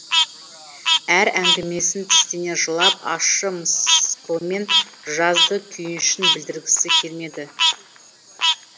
әр әңгімесін тістене жылап ащы мысқылмен жазды күйінішін білдіргісі келмеді